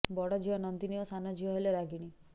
ବଡ଼ ଝିଅ ନନ୍ଦିନୀ ଓ ସାନ ଝିଅ ହେଲେ ରାଗିଣୀ